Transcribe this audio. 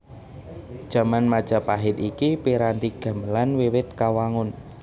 Jaman Majapahit iki piranti gamelan wiwit kawangun